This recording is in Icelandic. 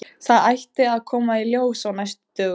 Þetta ætti að koma í ljós á næstu dögum.